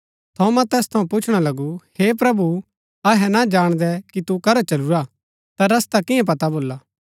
थोमा तैस थऊँ पुच्छणा लगु हे प्रभु अहै ना जाणदै कि तू करा चलूरा ता रस्ता किया पता भोला